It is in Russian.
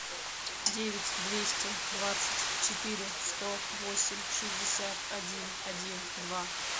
девять двести двадцать четыре сто восемь шестьдесят один один два